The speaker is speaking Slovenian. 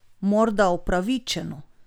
Morda upravičeno?